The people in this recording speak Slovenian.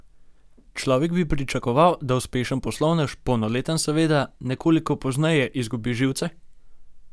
Človek bi pričakoval, da uspešen poslovnež, polnoleten seveda, nekoliko pozneje izgubi živce?